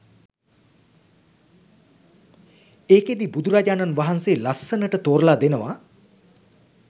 ඒකෙදි බුදුරජාණන් වහන්සේ ලස්සනට තෝරලා දෙනවා